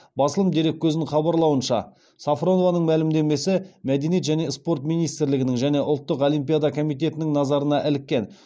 басылым дереккөзінің хабарлауынша сафронованың мәлімдемесі мәдениет және спорт министрлігінің және ұлттық олимпиада комитетінің назарына іліккен